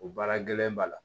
O baara gɛlɛn b'a la